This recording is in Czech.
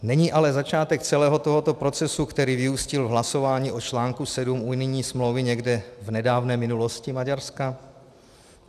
Není ale začátek celého tohoto procesu, který vyústil v hlasování o článku sedm unijní smlouvy, někde v nedávné minulosti Maďarska?